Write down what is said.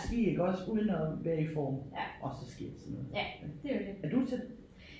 Ski iggås uden at være i form og så sker sådan noget ik er du til det?